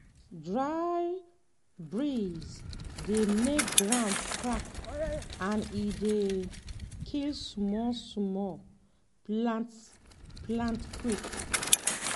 dry breeze dey make ground crack and e dey um kill small small plants plants quick.